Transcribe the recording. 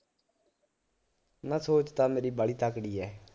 ਨਾ ਸੋਚ ਤਾਂ ਮੇਰੀ ਵਾਹਲੀ ਤਕੜੀ ਏ